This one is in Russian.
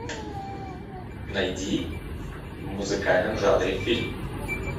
найди в музыкальном жанре фильм